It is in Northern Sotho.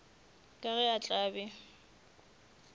ka ge a tla be